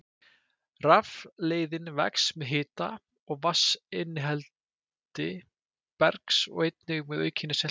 Rafleiðnin vex með hita og vatnsinnihaldi bergs og einnig með aukinni seltu.